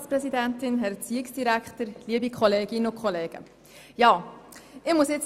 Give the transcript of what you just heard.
Nun muss ich auch noch meinen Senf dazugeben.